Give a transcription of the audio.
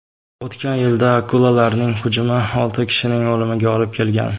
O‘tgan yilda akulalarning hujumi olti kishining o‘limiga olib kelgan.